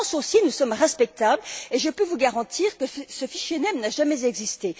En France aussi, nous sommes respectables, et je peux vous garantir que ce fichier Mens n'a jamais existé.